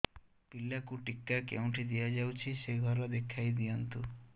ପିଲାକୁ ଟିକା କେଉଁଠି ଦିଆଯାଉଛି ସେ ଘର ଦେଖାଇ ଦିଅନ୍ତୁ